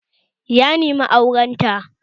Ya nemi auren ta